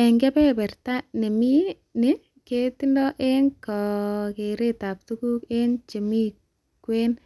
Eng keberberta nieming ni ketoni eng kakeretab tuguk aeng chemikwen-